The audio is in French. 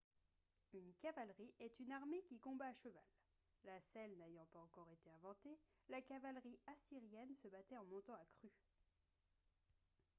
une cavalerie est une armée qui combat à cheval la selle n'ayant pas encore été inventée la cavalerie assyrienne se battait en montant à cru